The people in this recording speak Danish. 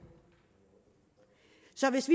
så hvis